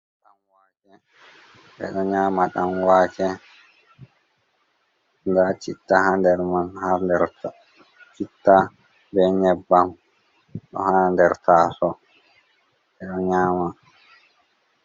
Ɗanwake ɓeɗo nyama ɗan wake, nda citta ha nder man har dercitta be nyebbam ɗo ha der taso ɓeɗo nyama.